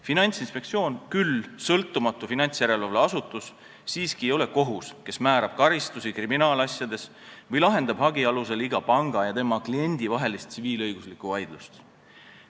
Finantsinspektsioon, küll sõltumatu finantsjärelevalveasutus, ei ole siiski kohus, kes määrab karistusi kriminaalasjades või lahendab hagi alusel iga panga ja tema kliendi vahelist tsiviilõiguslikku vaidlust.